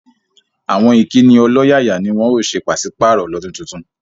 Àwọn Ìkíni ọlọ́yàyà ni wọ́n ó ṣe paṣìpàrọ̀ lọdún tuntun